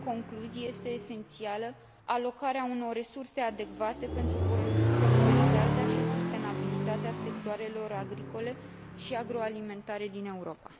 În concluzie, este esențială alocarea unor resurse adecvate pentru prosperitatea și sustenabilitatea sectoarelor agricole și agroalimentare din Europa.